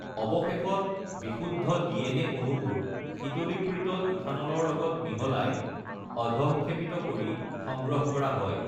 অৱশেষত বিশুদ্ধ ডিএনএ অণুবোৰ শীতলীকৃত ইথানলৰ লগত মিহলায় অধঃক্ষেপিত কৰি সংগ্ৰহ কৰা হয়।